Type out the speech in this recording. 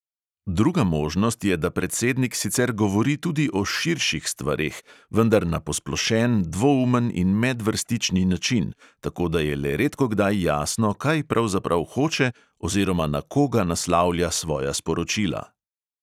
Druga možnost je, da predsednik sicer govori tudi o "širših" stvareh, vendar na posplošen, dvoumen in medvrstični način, tako da je le redkokdaj jasno, kaj pravzaprav hoče oziroma na koga naslavlja svoja sporočila.